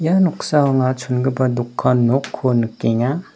noksao anga chongipa dokan nokko nikenga.